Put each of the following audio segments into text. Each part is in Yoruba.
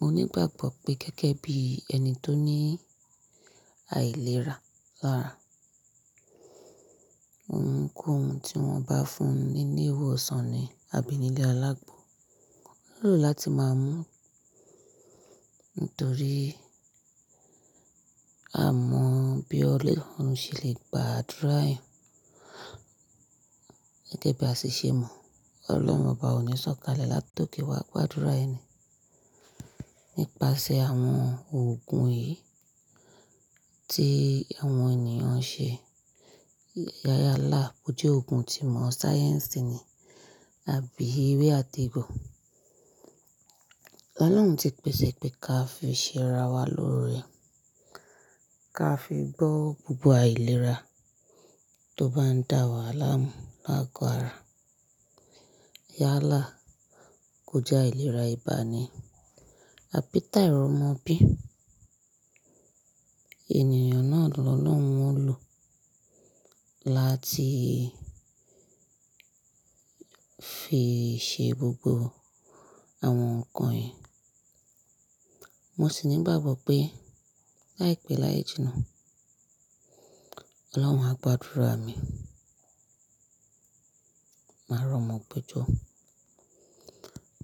Mo nígbàgbọ́ pé gẹ́gẹ́ bí ẹni tó ní àìlera lára, ohun ń kó ohun tí wọ́n bá fún mi ní ile iwọsàn ni àbí nílé alágbo. Ó yẹ láti máa mú nítorí a mọ bí ọlọ́run ṣe lè gba àdúrà ẹyan gẹ́gẹ́ bí a ti ṣe mọ̀, Ọlọ́run ọba ò ní sọ̀kalẹ̀ láti oke wa gbàdúrà ẹni nípasẹ̀ àwọn òògùn yìí tí àwọn ènìyàn ṣe. Yálà, bó jẹ́ òògùn tí ìmọ̀ sáyẹ́nsì ni àbí ewé àtẹ́gùn. Ọlọ́run ti pèsè pé ká fi ṣẹ́ ara wa lórẹ, ká fi gbọ́ gbogbo àìlera tó bá ń dà wá láàmú láago ara. Yálà bo je aileera iba ni, àbí ti airomobi ènìyàn náà lo lorun o lo láti fi ṣe gbogbo àwọn nǹkan yìí. Mo sì nígbàgbọ́ pé láìpẹ́ láéjì náà, Ọlọ́run a gbàdúrà mi, máa rọ̀mọ́ gbejo,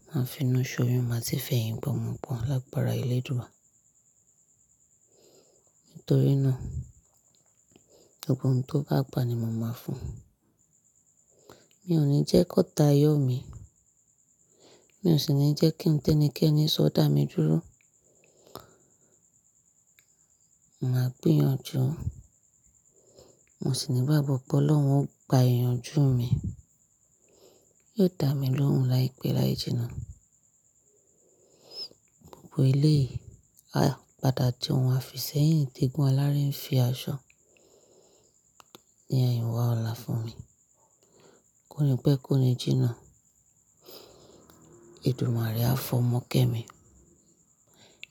máa finu ṣóyun, máa sì fẹyìngbomọ́pọn lágbára ele dua. Nítorí náà, gbogbo ohun tó bá gba ni mo máa fún un. Mi ò ní jẹ́ kó ta yọ́ mi, mi ò sì ní jẹ́ kí ń tẹ́ni kẹ́ni sọ dà mí dúró. Màá gbìyànjú, mo sì nígbàgbọ́ pé Ọlọ́run ó gba ìyànjú mi, yóò dà mí lóhùn láìpẹ́ láji náà. Gbogbo ele, ah! Padà fi ohun afi sẹ́yìn te egun aláré ń fi aṣọ ni eyinwa ọlá fún mi. Kó ni pẹ́ kó ni jìnnà, èdùmare á fọ́mọkẹ́ mi.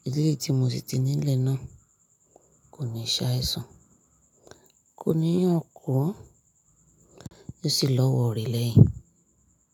Ilé tí mo sì ti nílẹ̀ náà kò ní ṣàìsàn, kò ní yànkú, yóò sì lọ́wọ́ rẹ̀ leyín.